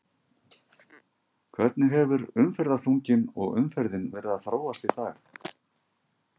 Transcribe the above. Hvernig hefur umferðarþunginn og umferðin verið að þróast í dag?